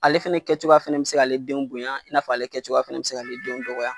Ale fɛnɛ kɛ cogoya fɛnɛ be se k'ale denw bonya i na fɔ ale fɛnɛ kɛ cogoya fɛnɛ be se k' ale denw dɔgɔya.